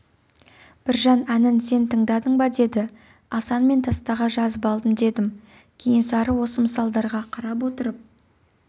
біржан әнін сен тыңдадыңба деді асан мен таспаға жазып алдым деді кенесары осы мысалдарға қарап отырып